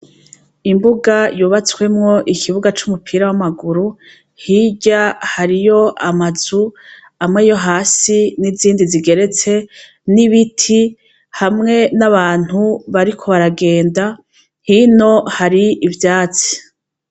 Imbuga yubatswemwo ikibuga c'umupira w'amaguru, hirya hariyo amazu amwe yo hasi n'izindi zigeretse n'ibiti hamwe n'abantu bariko baragenda, hino hari ivyatsi.